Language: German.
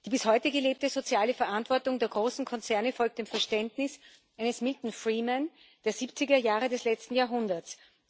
Die bis heute gelebte soziale Verantwortung der großen Konzerne folgt dem Verständnis eines Milton Friedman der siebziger Jahre des letzten Jahrhunderts.